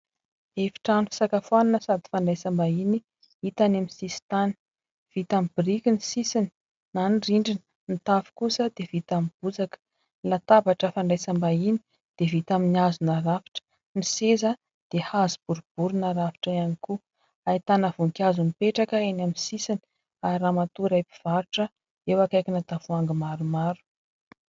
Efitrano fisakafoanana sady fandraisam-bahiny, hita any amin'ny sisin-tany. Vita amin'ny biriky ny sisiny na ny rindriny ; ny tafo kosa dia vita amin'ny bozaka. Ny latabatra fandraisam-bahiny dia vita amin'ny hazo narafitra, ny seza dia hazo boribory narafitra ihany koa. Ahitana voninkazo mipetraka eny amin'ny sisiny ; ary ramatoa iray mpivarotra eo akaikina tavoahangy maromaro.